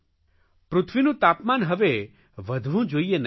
પૃથ્વીનું તાપમાન હવે વધવું જોઇએ નહીં